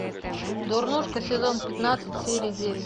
дурнушка сезон пятнадцать серия девять